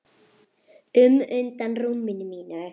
um undan rúminu mínu.